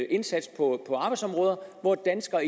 en indsats på arbejdsområder hvor danskerne